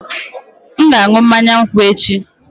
M ga-aṅụ mmanya nkwụ echi